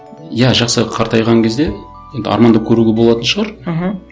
иә жақсы қартайған кезде енді армандап көруге болатын шығар мхм